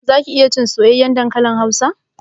Zaki iya cin soyayyen dankalin hausa?